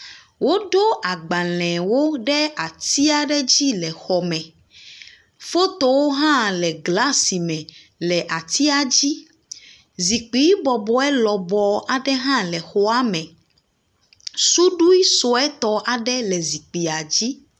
Woɖo agbalẽwo ɖe ati aɖe dzi le xɔme. Fotowo hã le glasi me le atia dzi. Zikpui bɔbɔe lɔbɔ aɖe hã le xɔa me. Suɖui suetɔ aɖe le zikpuia dzi.